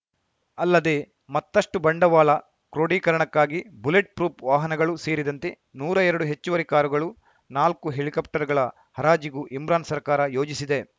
ಅಲ್ಲದೆ ಮತ್ತಷ್ಟುಬಂಡವಾಳ ಕ್ರೋಢೀಕರಣಕ್ಕಾಗಿ ಬುಲೆಟ್‌ ಪ್ರೂಫ್‌ ವಾಹನಗಳು ಸೇರಿದಂತೆ ನೂರಾ ಎರಡು ಹೆಚ್ಚುವರಿ ಕಾರುಗಳು ನಾಲ್ಕು ಹೆಲಿಕಾಪ್ಟರ್‌ಗಳ ಹರಾಜಿಗೂ ಇಮ್ರಾನ್‌ ಸರ್ಕಾರ ಯೋಜಿಸಿದೆ